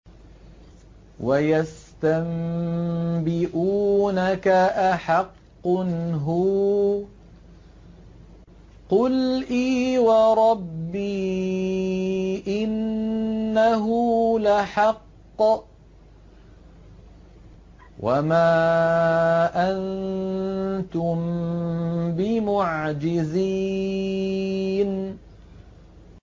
۞ وَيَسْتَنبِئُونَكَ أَحَقٌّ هُوَ ۖ قُلْ إِي وَرَبِّي إِنَّهُ لَحَقٌّ ۖ وَمَا أَنتُم بِمُعْجِزِينَ